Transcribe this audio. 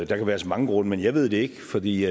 der kan være så mange grunde men jeg ved det ikke for vi